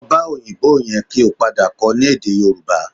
Lọ bá òyìnbó yẹn kí ó padà kọ́ ọ ní èdè Yorùbá